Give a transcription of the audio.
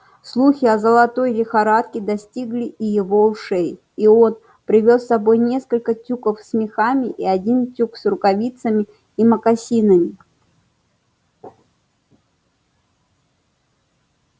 слухи о золотой лихорадке достигли и его ушей и он привёз с собой несколько тюков с мехами и один тюк с рукавицами и мокасинами